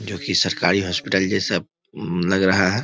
जो कि सरकारी हॉस्पिटल जैसा लग रहा है।